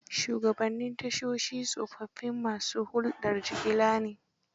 Shugabnnin tashoshi tsofaffin ma su huldar jigila ne.